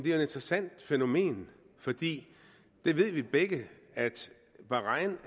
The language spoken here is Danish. et interessant fænomen vi ved begge at bahrain